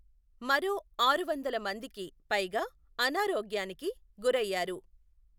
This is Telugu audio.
మరో ఆరువందల మందికి పైగా అనారోగ్యానికిి గురయ్యారు.